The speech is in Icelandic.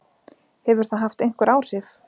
Hefur það haft einhver áhrif?